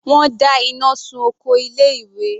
Wọ́n dá iná sun oko ilé ìwé.